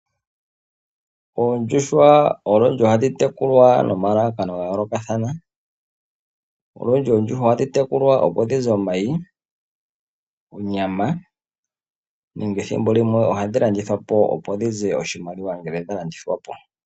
Oondjuhwa olundji ohadhi tekulwa noma lalakano ga yoolokathana. Olundji oondjuhwa ohadhi tekulwa opo dhize omayi, onyama nenge ethimbo limwe ohadhi landithwa po opo dhize oshimaliwa ngele dha landithwa po.